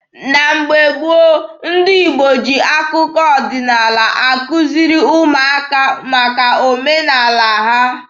Na mgbe gboo, ndị Igbo ji akụkọ ọdịnaala akuziri ụmụaka maka omenaala ha.